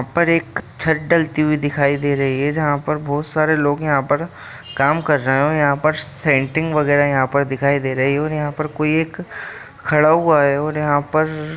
यहाँ पर एक छत डालते हुई दिखाई दे रही है जहां पर बहुत सारे लोग यहाँ पर काम कर रहे है और यहाँ पर सेंटिंग वगेरा यहाँ पर दिखाई दे रही है और यहाँ पर कोई एक खड़ा हुआ है और यहाँ पर --